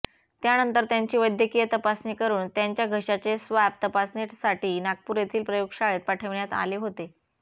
त्यानंतर त्यांची वैद्यकीय तपासणी करून त्यांच्या घशाचे स्वाब तपासणीसाठी नागपूर येथील प्रयोगशाळेत पाठविण्यात आले होते